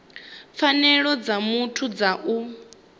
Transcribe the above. pfanelo dza muthu dza u